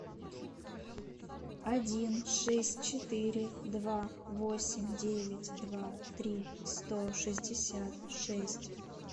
один шесть четыре два восемь девять два три сто шестьдесят шесть